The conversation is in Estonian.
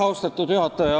Austatud juhataja!